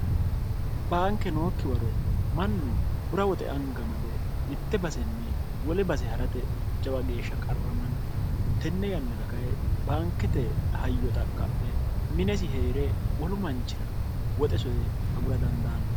baanke nookki waro mannu bura woxe anga made mitte basenni wole base ha'rate jawa geeshsha qarramanno tenne yannara kae baankete hayyo xaqqa'mhe minesi hee're wolu manchira woxe soye agura dandaanno